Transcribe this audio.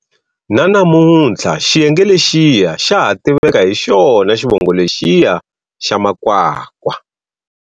Na namunthla xiyenge lexiya xa ha tiveka hi xona xivongo lexiya xa Makwakwa.